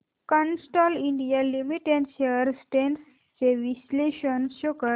Castrol India limited shares trends चे विश्लेषण show कर